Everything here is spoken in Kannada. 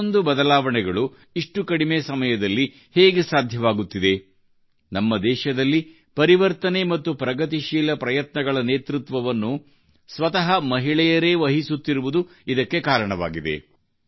ಇಷ್ಟೊಂದು ಬದಲಾವಣೆಗಳು ಇಷ್ಟು ಕಡಿಮೆ ಸಮಯದಲ್ಲಿ ಹೇಗೆ ಸಾಧ್ಯವಾಗುತ್ತಿದೆ ನಮ್ಮ ದೇಶದಲ್ಲಿ ಪರಿವರ್ತನೆ ಮತ್ತು ಪ್ರಗತಿಶೀಲ ಪ್ರಯತ್ನಗಳ ನೇತೃತ್ವವನ್ನು ಸ್ವತಃ ಮಹಿಳೆಯರೇ ವಹಿಸುತ್ತಿರುವುದೇ ಇದಕ್ಕೆ ಕಾರಣವಾಗಿದೆ